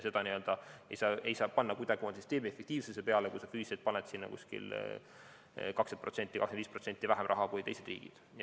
Ei saa kuidagimoodi loota süsteemi efektiivsuse peale, kui sa paned sinna 20% või 25% vähem raha kui teised riigid.